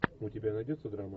у тебя найдется драма